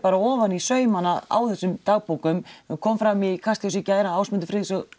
ofan í saumana á þessum dagbókum nú kom fram í Kastljósi í gær að Ásmundur Friðriksson